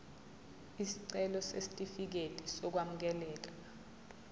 isicelo sesitifikedi sokwamukeleka